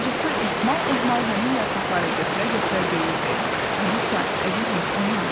Bacısı ehmal-ehmal həmin yarpaqları götürə-götürə deyirdi: Alisa, əzizim, oyan.